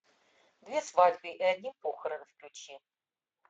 две свадьбы и одни похороны включи